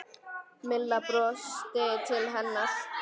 Milla brosti til hennar.